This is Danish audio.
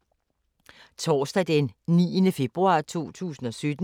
Torsdag d. 9. februar 2017